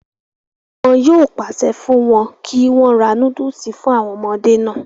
wọn yóò pàṣẹ fún wọn kí wọ́n ra núdùsì fún àwọn ọmọdé náà